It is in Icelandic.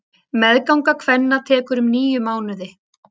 Meðganga kvenna tekur um níu mánuði.